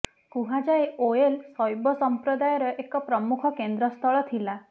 କୁହାଯାଏ ଓୟଲ ଶୈବ ସମ୍ପ୍ରଦାୟର ଏକ ପ୍ରମୁଖ କେନ୍ଦ୍ରସ୍ଥଳ ଥିଲା